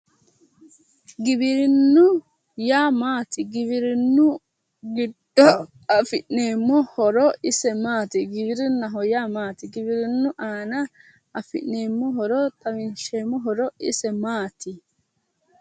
Giwirinnu yaa maati? giwirinnu giddo afi'neeemmo horo ise maati? Giwirinnaho yaa maati? Giwirinnu aana afi'neemmo xawisseemmo horo ise maati?